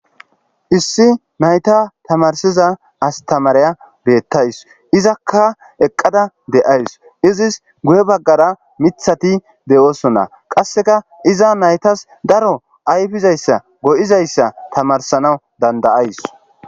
issi nayta tamarsiza astamariya beettays izakka eqqada de7ays izis guhe baggara mithati deyoosonna qasseka iza naytas daro ayfizayssa go7izayssa tamarsanawu dandayays